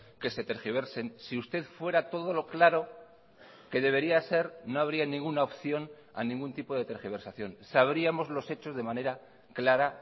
que se tergiversen si usted fuera todo lo claro que debería ser no habría ninguna opción a ningún tipo de tergiversación sabríamos los hechos de manera clara